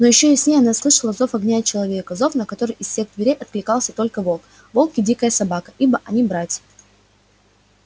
но ещё яснее она слышала зов огня и человека зов на который из всех зверей откликается только волк волк и дикая собака ибо они братья